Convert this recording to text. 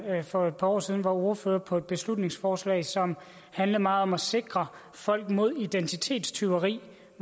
for et par år siden var ordfører på et beslutningsforslag som handlede meget om at sikre folk mod identitetstyveri